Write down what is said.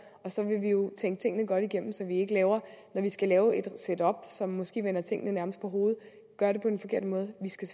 og så vil vi jo tænke tingene godt igennem så vi ikke når vi skal lave et setup som måske nærmest vender tingene på hovedet gør det på den forkerte måde vi skal